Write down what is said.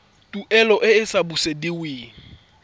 tuelo e e sa busediweng